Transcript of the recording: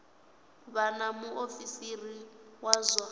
vha na muofisiri wa zwa